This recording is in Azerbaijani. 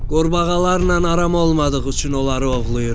Qurbağalarla aram olmadığı üçün onları ovlayıram.